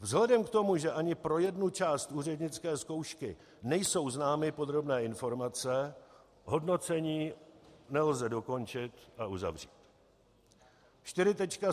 Vzhledem k tomu, že ani pro jednu část úřednické zkoušky nejsou známy podrobné informace, hodnocení nelze dokončit a uzavřít.